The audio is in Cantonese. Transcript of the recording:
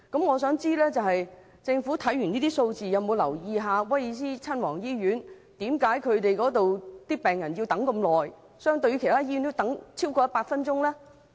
我想問政府，它有否研究為何威爾斯親王醫院的病人需要等候特別長時間，相對其他醫院要多等100分鐘呢？